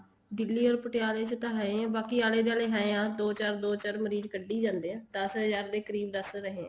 Delhi or ਪਟਿਆਲੇ ਚ ਹੈ ਈ ਹੈ ਬਾਕੀ ਆਲੇ ਦਵਾਲੇ ਹੈ ਦੋ ਚਾਰ ਦੋ ਚਾਰ ਮਰੀਜ਼ ਕੱਡੀ ਜਾਂਦੇ ਆ ਦਸ ਹਜ਼ਾਰ ਦੇ ਕਰੀਬ ਦੱਸ ਰਹੇ ਆ